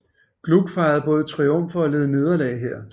Gluck fejrede både triumfer og led nederlag her